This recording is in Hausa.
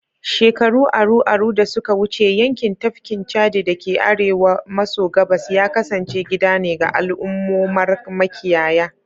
Shekaru aru-aru da suka wuce, yankin tafkin Chadi da ke arewa maso gabas ya kasance gida ne ga al'ummomar makiyaya